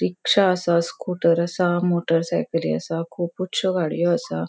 रिक्शा असा स्कूटर असा मोटर साइकली असा खुपुशच्यो गाड़ियों असा.